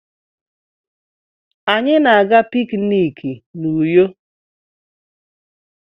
Anyị na-aga pikiniki n'Uyo.